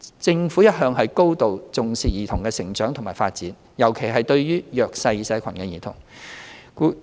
政府一向高度重視兒童的成長及發展，尤其是來自弱勢社群的兒童。